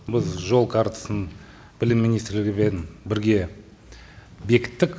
біз жол картасын білім министрлігімен бірге бекіттік